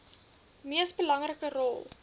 mees belangrike rol